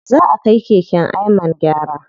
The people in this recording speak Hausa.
Zaʼa kai keken Ayman gyara.